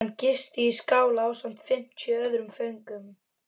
Hann gisti í skála ásamt fimmtíu öðrum föngum.